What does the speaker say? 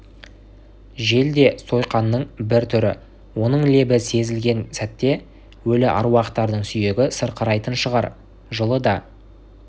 жел де сойқанның бір түрі оның лебі сезілген сәтте өлі әруақтардың сүйегі сырқырайтын шығар жылы да